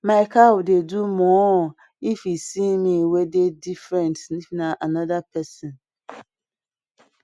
my cow dey do moo if e see me wey dey different if na anoda pesin